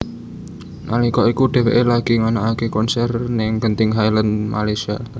Nalika iku dheweké lagi nganakaké konser ning Genting Highlands Malaysia